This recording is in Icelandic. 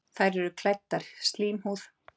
Þær eru klæddar slímhúð.